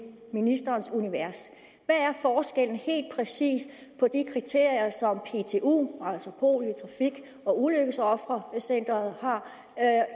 ministerens univers hvad er forskellen helt præcis på de kriterier som ptu altså polio trafik og ulykkesofrecenteret har